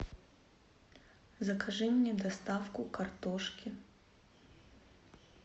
закажи мне доставку картошки